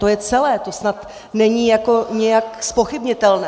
To je celé, to snad není nijak zpochybnitelné.